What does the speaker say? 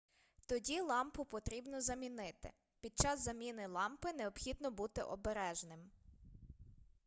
тоді лампу потрібно замінити під час заміни лампи необхідно бути обережним